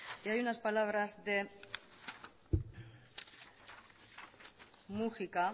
y hay unas palabras de múgica